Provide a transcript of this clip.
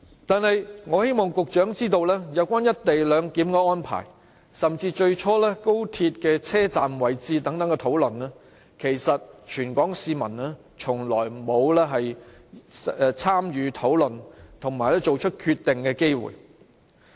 然而，我希望局長知道，有關"一地兩檢"的安排，甚至最初有關高鐵車站位置的討論，其實全港市民從來沒有參與討論或作出決定的機會。